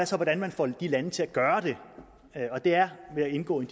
så hvordan man får de lande til at gøre det det er ved at indgå i